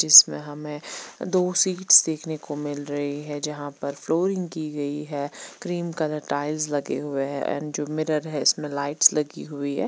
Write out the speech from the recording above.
इसमे हमने दो सीट्स देखने को मिल रही है जहां पर फ्लोरिंग की गयी है क्रीम कलर टाइल्स लगे हुए है एंड जो मिरर है इसमे लाइट्स लगी हुई है।